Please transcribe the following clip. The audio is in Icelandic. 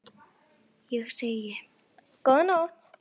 Ég segi: Góða nótt!